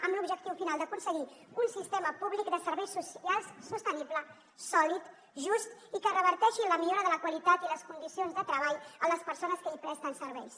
amb l’objectiu final d’aconseguir un sistema públic de serveis socials sostenible sòlid just i que reverteixi en la millora de la qualitat i les condicions de treball de les persones que hi presten serveis